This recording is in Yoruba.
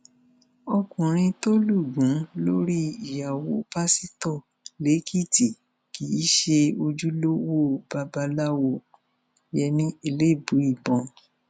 ọkùnrin tó lù gún lórí ìyàwó pásítọ lẹkìtì kì í ṣe ojúlówó babaláwoyemí elébùíbọn